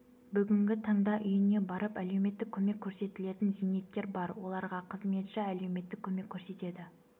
бүгінгі таңда үйіне барып әлеуметтік көмек көрсетілетін зейнеткер бар оларға қызметші әлеуметтік көмек көрсетеді